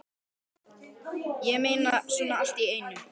Ég meina, svona allt í einu?